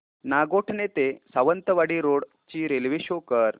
नागोठणे ते सावंतवाडी रोड ची railway show कर